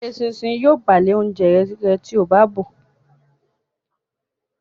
Eṣinṣin yíò bàa le oúnjẹ rẹ tíó bá bọ